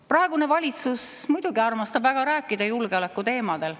Praegune valitsus muidugi armastab väga rääkida julgeoleku teemadel.